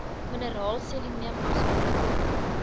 mineraal selenium asook